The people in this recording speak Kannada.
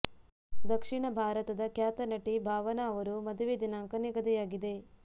ದಕ್ಷಿಣ ಭಾರತದ ಖ್ಯಾತ ನಟಿ ಭಾವನಾ ಅವರು ಮದುವೆ ದಿನಾಂಕ ನಿಗದಿಯಾಗಿದೆ